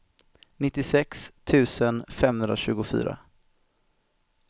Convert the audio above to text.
nittiosex tusen femhundratjugofyra